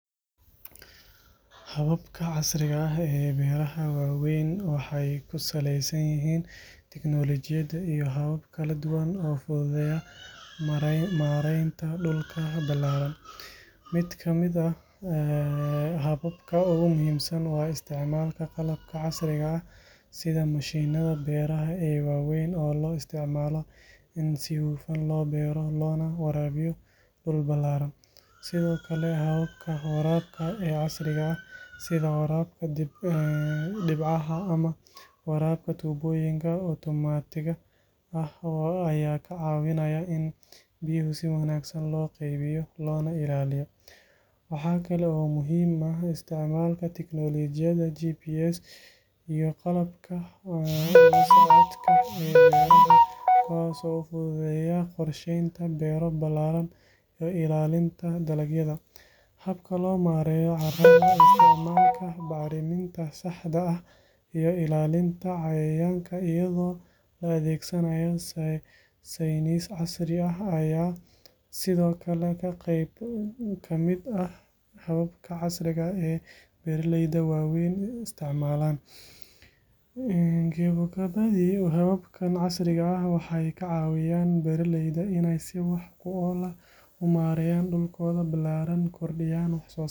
Hababka casriga ah ee beeraha waaweyn waxay ku saleysan yihiin tiknoolojiyad iyo habab kala duwan oo fududeynaya maaraynta dhulka ballaaran. Mid ka mid ah hababka ugu muhiimsan waa isticmaalka qalabka casriga ah sida mashiinnada beeraha ee waaweyn oo loo isticmaalo in si hufan loo beero loona waraabiyo dhul ballaaran. Sidoo kale, habka waraabka ee casriga ah sida waraabka dhibcaha ama waraabka tubooyinka otomaatiga ah ayaa ka caawinaya in biyaha si wanaagsan loo qaybiyo loona ilaaliyo. Waxaa kale oo muhiim ah isticmaalka tiknoolojiyadda GPS iyo qalabka la socodka ee beeraha, kuwaas oo fududeynaya qorsheynta beero ballaaran iyo ilaalinta dalagyada. Habka loo maareeyo carrada, isticmaalka bacriminta saxda ah iyo ilaalinta cayayaanka iyadoo la adeegsanayo saynis casri ah ayaa sidoo kale ah qayb ka mid ah hababka casriga ah ee beeraleyda waaweyn isticmaalaan. Gebogebadii, hababka casriga ah waxay ka caawinayaan beeraleyda inay si wax ku ool ah u maareeyaan dhulkooda ballaaran, kordhiyaan wax-soosaarka, isla markaana yareeyaan khasaaraha iyo waqtiga la isticmaalo.